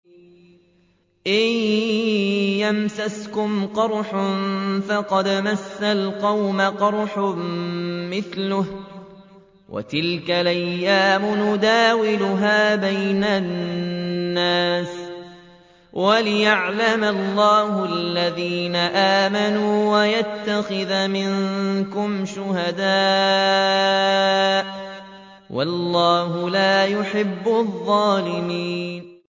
إِن يَمْسَسْكُمْ قَرْحٌ فَقَدْ مَسَّ الْقَوْمَ قَرْحٌ مِّثْلُهُ ۚ وَتِلْكَ الْأَيَّامُ نُدَاوِلُهَا بَيْنَ النَّاسِ وَلِيَعْلَمَ اللَّهُ الَّذِينَ آمَنُوا وَيَتَّخِذَ مِنكُمْ شُهَدَاءَ ۗ وَاللَّهُ لَا يُحِبُّ الظَّالِمِينَ